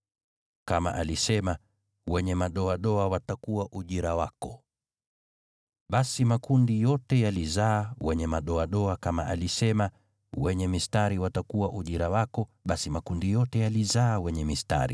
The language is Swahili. Kama alisema, ‘Wenye madoadoa watakuwa ujira wako,’ basi makundi yote yalizaa wenye madoadoa, kama alisema, ‘Wenye mistari watakuwa ujira wako,’ basi makundi yote yalizaa wenye mistari.